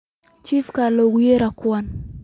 Chifka lookuyere kuwan.